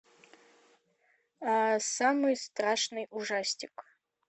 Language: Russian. самый страшный ужастик